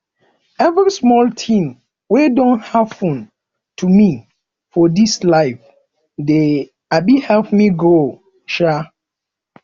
every small tin wey don happen to me for dis life dey um help me grow um